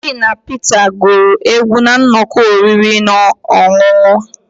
Shina Peter guru egwu na nnọkọ oriri na ọṅụṅụ